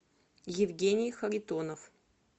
евгений харитонов